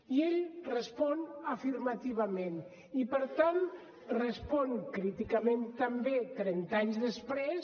i ell respon afirmativament i per tant respon críticament també trenta anys després